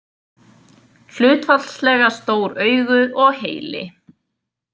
Hlutfallslega stór augu og heili.